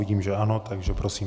Vidím, že ano, takže prosím.